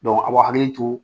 a b'aw hakilito